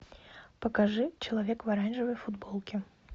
покажи человек в оранжевой футболке